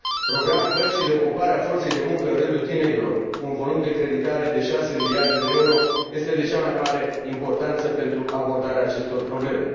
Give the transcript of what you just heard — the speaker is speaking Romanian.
Programul băncii de ocupare a forței de muncă în rândul tinerilor, cu un volum de creditare de 6 miliarde de euro, este de cea mai mare importanță pentru abordarea acestor probleme.